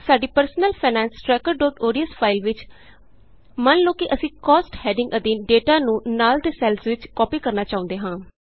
ਸਾਡੀ Personal Finance Trackerodsਫਾਇਲ ਵਿਚ ਮੰਨ ਲਉ ਕਿ ਅਸੀਂ Costਹੈਡਿੰਗ ਅਧੀਨ ਡੇਟਾ ਨੂੰ ਨਾਲ ਦੇ ਸੈੱਲਸ ਵਿਚ ਕਾਪੀ ਕਰਨਾ ਚਾਹੁੰਦੇ ਹਾਂ